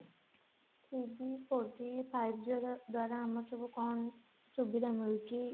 three G four G five G ର ଦ୍ଵାରା ଆମର ସବୁ କଣ ସୁବିଧା ମିଳୁଛି